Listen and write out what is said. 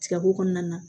Tigabo kɔnɔna na